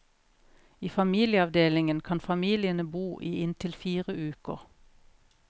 I familieavdelingen kan familiene bo i inntil fire uker.